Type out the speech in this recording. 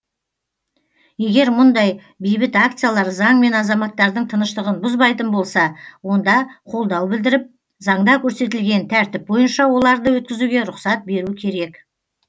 егер мұндай бейбіт акциялар заң мен азаматтардың тыныштығын бұзбайтын болса онда қолдау білдіріп заңда көрсетілген тәртіп бойынша оларды өткізуге рұқсат беру керек